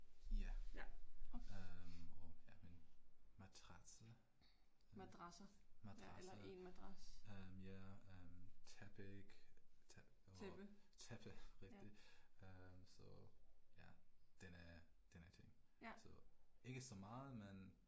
Ja. Øh og ja min madrasse, madrasse, mh ja øh tæpik, tæppe, rigtig så ja. Denne, denne ting så ikke så meget men